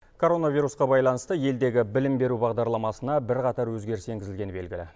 коронавирусқа байланысты елдегі білім беру бағдарламасына бірқатар өзгеріс енгізілгені белгілі